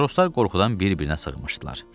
Matroslar qorxudan bir-birinə sığınışdılar.